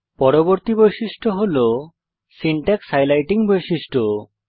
পরবর্তী বৈশিষ্ট্য হল সিনট্যাক্স হাইলাইটিং বৈশিষ্ট্য